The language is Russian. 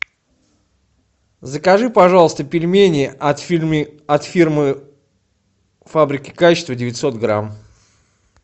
закажи пожалуйста пельмени от фирмы фабрики качества девятьсот грамм